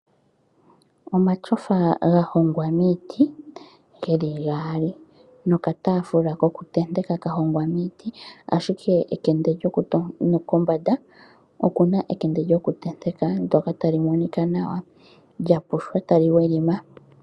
Omatyofa gahongwa miiti geli gaali nokataafula kokuntenteka kahongwa miiti, ashike kombanda okuna ekende lyokuntenteka ndoka tali monika nawa lyapushwa tali welima.